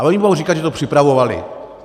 A oni budou říkat, že to připravovali.